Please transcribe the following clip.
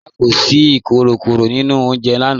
Rárá, kò sí ìkòkòró nínu ọ̀unjẹ̀ lànà.